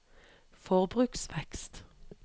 forbruksvekst